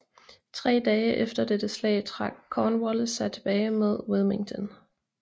Tre dage efter dette slag trak Cornwallis sig tilbage mod Wilmington